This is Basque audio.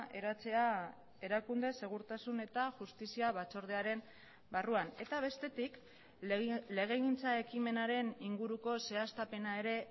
eratzea erakunde segurtasun eta justizia batzordearen barruan eta bestetik legegintza ekimenaren inguruko zehaztapena ere